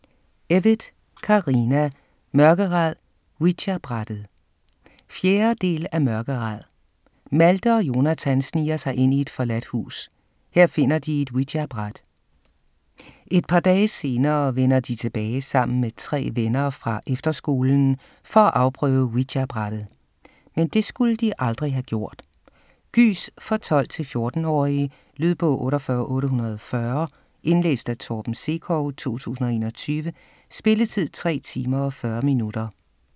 Evytt, Carina: Mørkeræd - ouijabrættet 4. del af Mørkeræd. Malthe og Jonathan sniger sig ind i et forladt hus. Her finder de et ouijabræt. Et par dage senere vender de tilbage sammen med tre venner fra efterskolen for at afprøve ouijabrættet. Men det skulle de aldrig have gjort. Gys for 12-14-årige.. Lydbog 48840 Indlæst af Torben Sekov, 2021. Spilletid: 3 timer, 40 minutter.